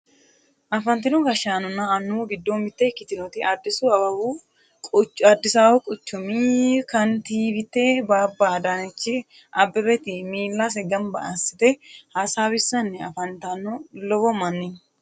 afantino gashshaanonna annuwu giddo mitte ikkitinoti addisi awawu quchumi kantiiwitte babba adaanechi abebeti miillase ganba assite hasaawissanni afantanno lowo manni no